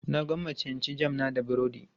Na gwammace in ci jam na da burodi.